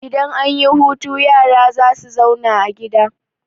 Idan an yi hutu yara za su zauna a gida.